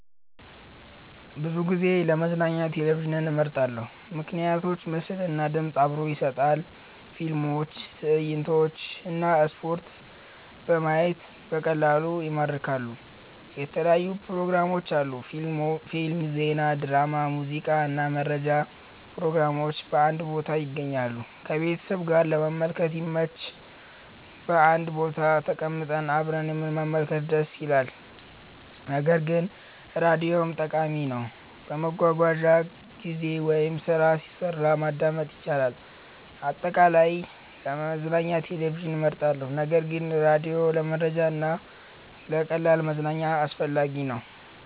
ብዙ ጊዜ ለመዝናኛ ቴሌቪዥንን እመርጣለሁ። ምክንያቶች ምስል እና ድምፅ አብሮ ይሰጣል – ፊልሞች፣ ትዕይንቶች እና ስፖርት በማየት በቀላሉ ይማርካሉ። የተለያዩ ፕሮግራሞች አሉ – ፊልም፣ ዜና፣ ድራማ፣ ሙዚቃ እና መረጃ ፕሮግራሞች በአንድ ቦታ ይገኛሉ። ከቤተሰብ ጋር ለመመልከት ይመች – በአንድ ቦታ ተቀምጠን አብረን መመልከት ደስ ይላል። ነገር ግን ራዲዮም ጠቃሚ ነው፤ በመጓጓዣ ጊዜ ወይም ስራ ሲሰራ ማዳመጥ ይቻላል። አጠቃላይ፣ ለመዝናኛ ቴሌቪዥን እመርጣለሁ ነገር ግን ራዲዮ ለመረጃ እና ለቀላል መዝናኛ አስፈላጊ ነው።